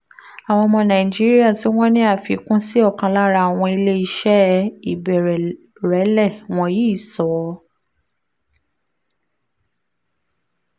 àwọn ọmọ nàìjíríà tí wọ́n ní àfikún sí ọ̀kan lára àwọn ilé iṣẹ́ ìbẹ̀rẹ̀lẹ̀ wọ̀nyí sọ